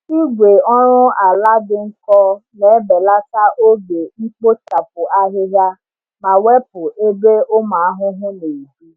Igwe oru ala dị nkọ na-ebelata oge mkpochapụ ahịhịa ma wepụ ebe ụmụ ahụhụ na-ebi.